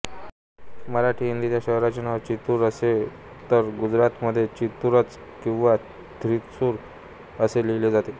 मराठीहिंदीत या शहराचे नाव त्रिचूर असे तर गुजरातीमध्ये तिरुचर किंवा थ्रिसुर असे लिहिले जाते